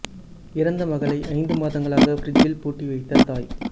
இறந்த மகளை ஐந்து மாதங்களாக பிரிட்ஜில் பூட்டி வைத்த தாய்